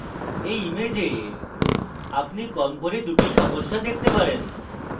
in image আপনি কম করে দুটি সমস্যা দেখতে পারেন